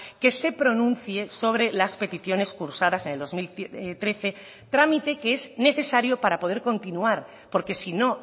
que se pronuncie sobre las peticiones cursadas en el dos mil trece trámite que es necesario para poder continuar porque si no